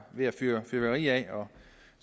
ved at fyre fyrværkeri af og